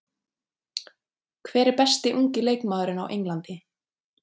Hver er besti ungi leikmaðurinn á Englandi?